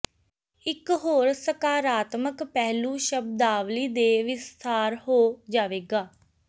ਇਕ ਹੋਰ ਸਕਾਰਾਤਮਕ ਪਹਿਲੂ ਸ਼ਬਦਾਵਲੀ ਦੇ ਵਿਸਥਾਰ ਹੋ ਜਾਵੇਗਾ